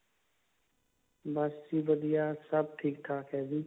ਬਸ ਜੀ ਵਧੀਆਂ ਸਬ ਠੀਕ ਠਾਕ ਹੈ ਜੀ